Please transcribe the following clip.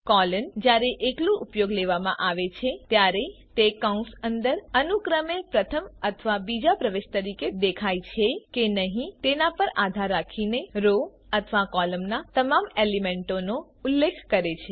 colon જયારે એકલુ ઉપયોગ લેવામાં આવે છે ત્યારે તે કૌંસ અંદર અનુક્રમે પ્રથમ અથવા બીજા પ્રવેશ તરીકે દેખાય છે કે નહી તેના પર આધાર રાખીને રો અથવા કૉલમના તમામ એલિમેન્ટોનો ઉલ્લેખ કરે છે